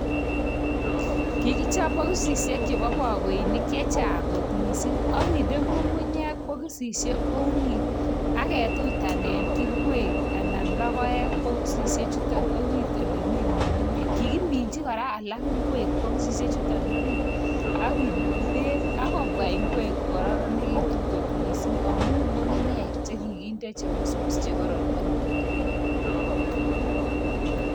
Kikichop bokisisiek chebo bokoinik chechang kot mising akinde ng'ung'unyek bokisisiek orit , aketutanen ingwek anan logiek bokisisiek chutok orit olemi ng'ung'unyek kikiminchi kora alak ingwek bokisisiechutok orit akenogi bek ak kobwa ingwek kokororonekitu kot mising amun ng'ung'unyek che kikinde che busbus chekaon ak kinagu bek.